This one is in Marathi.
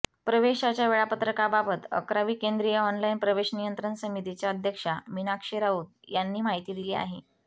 प्रवेशाच्या वेळापत्रकाबाबत अकरावी केंद्रीय ऑनलाइन प्रवेश नियंत्रण समितीच्या अध्यक्षा मीनाक्षी राऊत यांनी माहिती दिली आहे